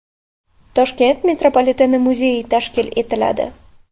Toshkent metropoliteni muzeyi tashkil etiladi.